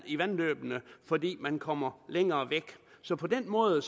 i vandløbene fordi man kommer længere væk så på den måde